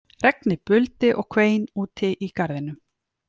Regnið buldi og hvein úti í garðinum